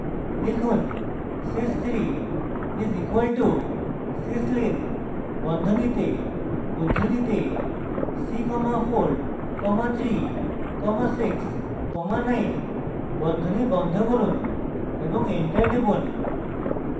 লিখুন sys 3 is equal to syslin বন্ধনীতে উদ্ধৃতিতে c comma 4 comma 3 comma 6 comma 9 বন্ধনী বন্ধ করুন এবং enter টিপুন